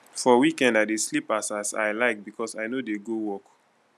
for weekend i dey sleep as as i like because i no dey go work